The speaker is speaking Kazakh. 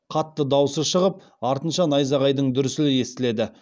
қатты дауысы шығып артынша найзағайдың дүрсілі естіледі